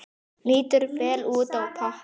Lítur vel út á pappír.